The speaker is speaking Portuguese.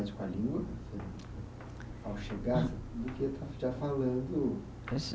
com a língua? Ao chegar, do que já falando